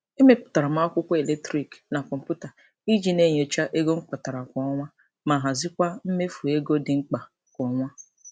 E mepụtara m akwụkwọ eletrik na kọmputa iji na-enyocha ego m kpatara kwa ọnwa ma hazikwa mmefu ego dị mkpa kwa ọnwa.